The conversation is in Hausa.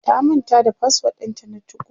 ta manta da password ɗinta na 2go